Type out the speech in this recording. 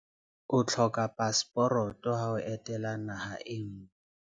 O hloka paseporoto ha o etela naha e nngwe.